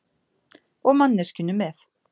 Og manneskjunum með.